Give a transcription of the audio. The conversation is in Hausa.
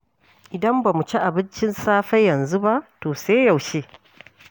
Idan ba mu ci abincin safe yanzu ba, to sai yaushe?